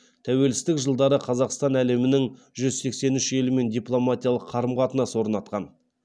тәуелсіздік жылдары қазақстан әлемнің жүз сексен үш елімен дипломатиялық қарым қатынас орнатқан